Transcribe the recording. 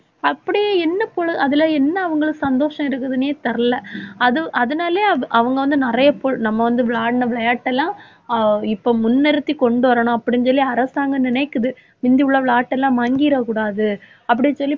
அப்படியே என்ன பொழு~ அதுல என்ன அவங்களுக்கு சந்தோஷம் இருக்குதுன்னே தெரில. அது அதனாலயே அது அவங்க வந்து நிறைய பொழு~ நம்ம வந்து விளையாடின விளையாட்டெல்லாம் அஹ் இப்ப முன்னிறுத்தி கொண்டு வரணும் அப்படின்னு சொல்லி அரசாங்கம் நினைக்குது. முந்தி உள்ள விளையாட்டெல்லாம் மங்கிரக்கூடாது. அப்படின்னு சொல்லி